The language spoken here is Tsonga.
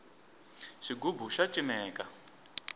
xigubu xa cineka